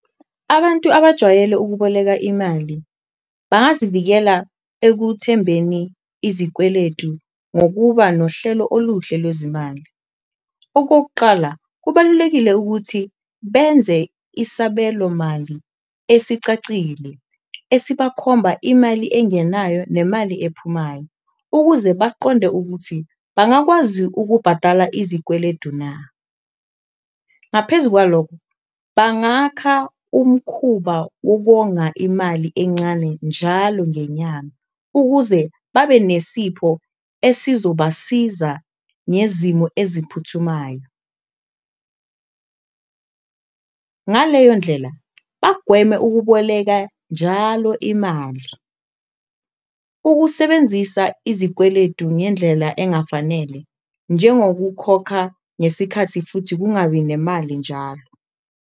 Abantu abajwayele ukuboleka imali bangazivikela ekuthembeni izikweletu ngokuba nohlelo oluhle lwezimali, okokuqala kubalulekile ukuthi benze isabelomali esicacile esibakhomba imali engenayo nemali ephumayo, ukuze baqonde ukuthi bangakwazi ukubhadala izikweledu na. Ngaphezu kwalokho, bangakha umkhuba wokonga imali encane njalo ngenyanga, ukuze babe nesipho esizobasiza ngezimo eziphuthumayo, ngaleyo ndlela bagweme ukuboleka njalo imali. Ukusebenzisa izikweledu ngendlela engafanele njengokukhokha ngesikhathi futhi kungabi nemali njalo.